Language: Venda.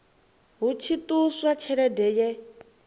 hu tshi ṱuswa tshelede ye